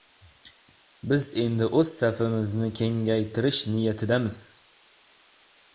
Biz endi o‘z safimizni kengaytirish niyatidamiz.